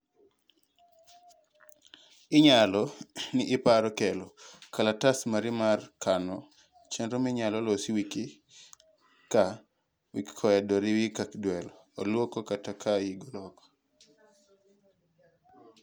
inyalo ni iparo kelo kalatas mari mar kano chenro minyalo losi wiki ka wikkoendo riwi ka dwe oloko kata ka higa loko